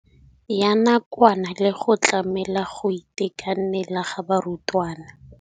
Ya nakwana le go tlamela go itekanela ga barutwana.